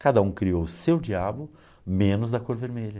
Cada um criou o seu diabo, menos da cor vermelha.